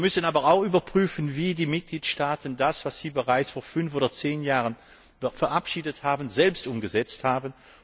Wir müssen aber auch überprüfen, wie die Mitgliedstaaten das, was sie bereits vor fünf oder zehn Jahren verabschiedet haben, selbst umgesetzt haben.